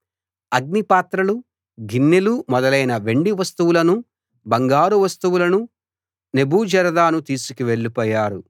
అగ్నిపాత్రలు గిన్నెలు మొదలైన వెండి వస్తువులనూ బంగారు వస్తువులనూ నెబూజరదాను తీసుకెళ్ళిపోయారు